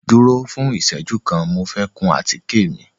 Duro fun ìseju kan, Mo fẹ kun àtike mi